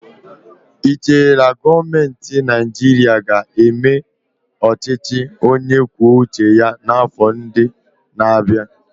Ị chere na gọọmentị Naịjirịa ga-eme ọchịchị onye kwuo uche ya n'afọ ndị na-abịa?